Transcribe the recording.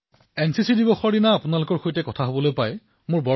প্ৰধানমন্ত্ৰীঃ আপোনালোক চাৰিওজনৰ সৈতে কথা পতাৰ সুযোগ লাভ কৰিলো